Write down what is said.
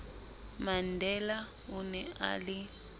mandela o ne a le